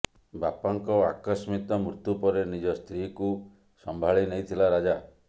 ବାପାଙ୍କ ଆକସ୍ମିତ ମୃତ୍ୟୁ ପରେ ନିଜ ସ୍ତ୍ରୀକୁ ସଂଭାଳି ନେଇଥିଲା ରାଜା